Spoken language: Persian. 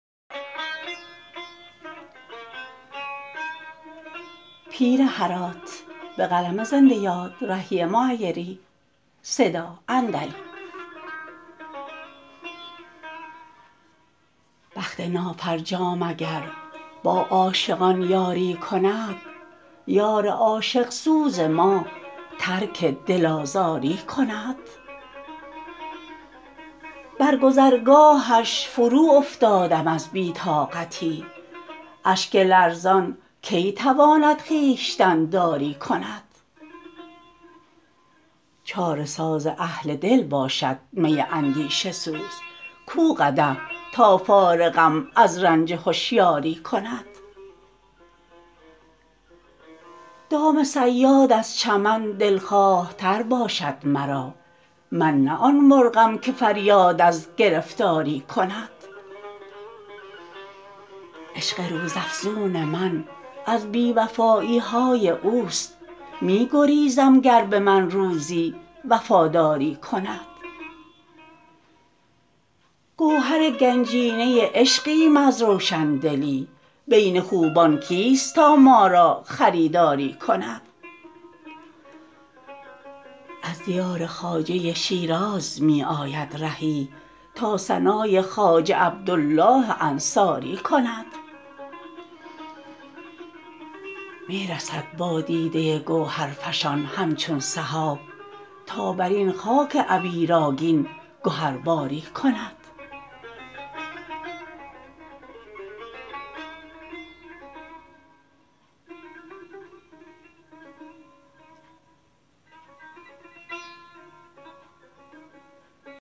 بخت نافرجام اگر با عاشقان یاری کند یار عاشق سوز ما ترک دل آزاری کند بر گذرگاهش فرو افتادم از بی طاقتی اشک لرزان کی تواند خویشتن داری کند چاره ساز اهل دل باشد می اندیشه سوز کو قدح تا فارغم از رنج هوشیاری کند دام صیاد ار چمد دلخواه تر باشد مرا من نه آن مرغم که فریاد از گرفتاری کند عشق روز افزون من از بی وفایی های اوست می گریزم گر به من روزی وفاداری کند گوهر گنجینه عشقیم از روشندلی بین خوبان کیست تا ما را خریداری کند از دیار خواجه شیراز می آید رهی تا ثنای خواجه عبدالله انصاری کند می رسد با دیده گوهرفشان همچون سحاب تا بر این خاک عبیرآگین گهرباری کند